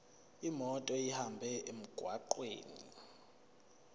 imoto ihambe emgwaqweni